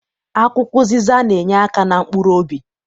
Akwụkwọ ụzịza na- enyeaka na mkpuruobi.